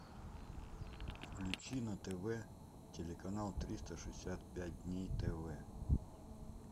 включи на тв телеканал триста шестьдесят пять дней тв